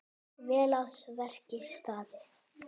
Vel að verki staðið.